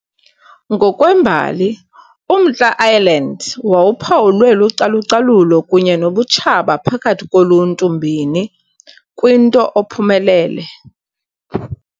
Ngokwembali, uMntla Ireland wawuphawulwe lucalucalulo kunye nobutshaba phakathi koluntu mbini, kwinto ophumelele